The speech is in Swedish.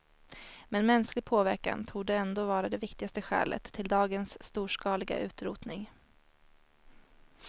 Men mänsklig påverkan torde ändå vara det viktigaste skälet till dagens storskaliga utrotning.